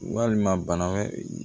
Walima bana wɛrɛ